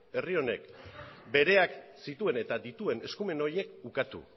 herri honek bereak zituen eta dituen eskumen horiek ukatu